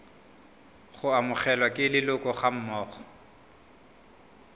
go amogelwa ke leloko gammogo